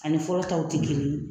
Ani fɔlɔ taw ti kelen ye.